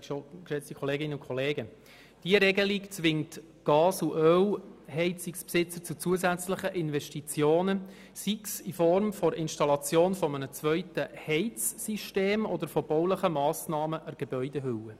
Diese Regelung zwingt die Besitzer von Gas- und Ölheizungen zu zusätzlichen Investitionen, sei es in Form einer Installation eines zweiten Heizsystems oder von baulichen Massnahmen an der Gebäudehülle.